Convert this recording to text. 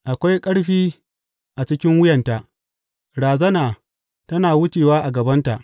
Akwai ƙarfi a cikin wuyanta; razana tana wucewa a gabanta.